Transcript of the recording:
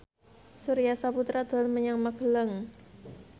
Surya Saputra dolan menyang Magelang